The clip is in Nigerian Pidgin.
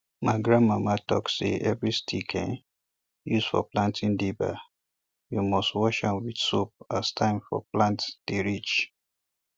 ma grand mama talk se every stick um use for planting dibber we must wash am with soap as time for plant dey reach